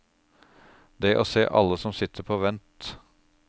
Det å se alle som sitter på vent.